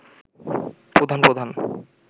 প্রধান প্রধান